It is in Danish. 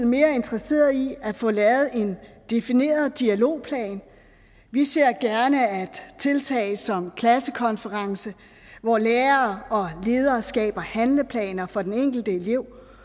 mere interesseret i at få lavet en defineret dialogplan vi ser gerne tiltag som klassekonference hvor lærere og ledere skaber handleplaner for den enkelte elev